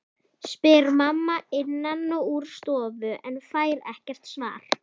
spyr mamma innan úr stofu en fær ekkert svar.